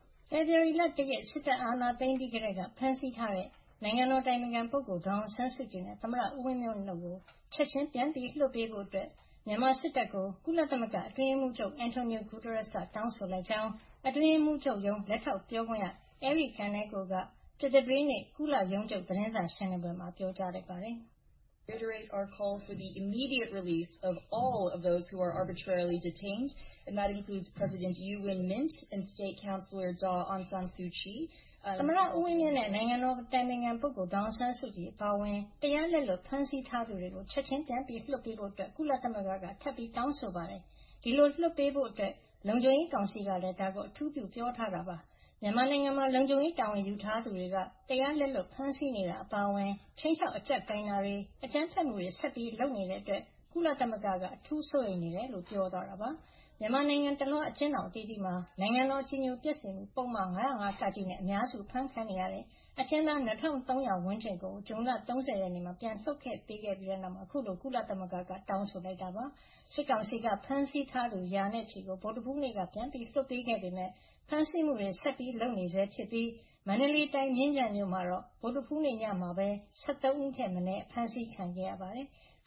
ဖေဖေါ်ဝါရီ ၁ ရက် စစ်တပ်အာဏာသိမ်းပြီးကတည်းက ဖမ်းဆီးထားတဲ့ နိုင်ငံတော်အတိုင်ပင်ခံပုဂ္ဂိုလ် ဒေါ်အောင်ဆန်းစုကြည်နဲ့ သမ္မတဦးဝင်းမြင့်တို့ကို ချက်ချင်းပြန်လွှတ်ပေးဖို့ မြန်မာစစ်တပ်ကို ကုလသမဂ္ဂအတွင်းရေးမှုးချုပ် Antonio Guterres က တောင်းဆိုလိုက်ကြောင်း အတွင်းရေးမှုးချုပ်ရုံး လက်ထောက်ပြောခွင့်ရ Eri Kaneko က ကြာသပတေးနေ့ ကုလရုံးချုပ် သတင်းစာရှင်းလင်းပွဲမှာ ပြောပါတယ်။ "သမ္မတဦးဝင်းမြင့်နဲ့ နိုင်ငံတော်အတိုင်ပင်ခံ ဒေါ်အောင်ဆန်းစုကြည်အပါအဝင် တရားလက်လွတ်ဖမ်းဆီးထားသူတွေကို ချက်ချင်း ပြန်ပြီးလွှတ်ပေးဖို့ ကုလသမဂ္ဂက ထပ်ပြီးတောင်းဆိုပါတယ်။ ဒီလိုလွှတ်ပေးဖို့အတွက် လုံခြုံရေးကောင်စီကလည်း ဒါကို အထူးပြုပြောထားပါတယ်။ မြန်မာနိုင်ငံမှာ လုံခြုံရေးတာဝန်ယူထားသူတွေက တရားလက်လွတ်ဖမ်းဆီးနေတာ အပါအဝင် ခြိမ်းခြောက်အကြပ်ကိုင်တာတွေ၊ အကြမ်းဖက်မှုတွေ ဆက်ပြီးလုပ်နေတဲ့အတွက် ကုလသမဂ္ဂက အထူးစိုးရိမ်နေကြောင်း" ပြောသွားတာပါ။ မြန်မာနိုင်ငံတလွှား အကျဥ်းထောင်အသီးသီးမှာ နိုင်ငံတော်အကြည်ညိုပျက်စေမှုပုဒ်မ ၅၀၅ (က) နဲ့ အများစု အဖမ်းခံနေရတဲ့ အကျဉ်းသား ၂၃၀၀ ဝန်းကျင်ကို ဇွန်လ ၃၀ မှာ ပြန်လွှတ်ပေးခဲ့ပြီး နောက်အခုလို ကုလသမဂ္ဂက တောင်းဆိုလိုက်တာ ဖြစ်ပါတယ်။ စစ်ကောင်စီက ဖမ်းဆီးထားသူ ရာနဲ့ချီကို ဗုဒ္ဓဟူးနေ့က ပြန်လွှတ်ပေးခဲ့ပေမယ့် ဖမ်းဆီးမှုတွေ ဆက်လုပ်နေဆဲ ဖြစ်ပြီး မန္တလေးတိုင်း မြင်းခြံမြို့မှာတော့ ဗုဒ္ဓဟူးနေ့ညမှာပဲ ၁၃ ဦးထက်မနည်း ဖမ်းဆီးခံရပါတယ်။